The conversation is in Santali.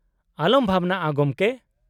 -ᱟᱞᱚᱢ ᱵᱷᱟᱵᱱᱟᱜᱼᱟ ᱜᱚᱢᱠᱮ ᱾